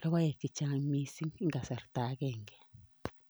logoek chechang eng kasarta agenge.